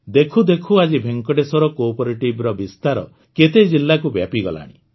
ଦେଖୁ ଦେଖୁ ଆଜି ଭେଙ୍କଟେଶ୍ୱର Cooperativeର ବିସ୍ତାର କେତେ ଜିଲ୍ଲାକୁ ବ୍ୟାପିଗଲାଣି